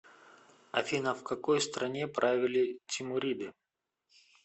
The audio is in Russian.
афина в какой стране правили тимуриды